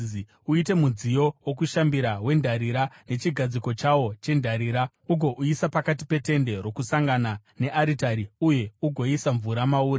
“Uite mudziyo wokushambira wendarira, nechigadziko chawo chendarira. Ugouisa pakati peTende Rokusangana nearitari uye ugoisa mvura mauri.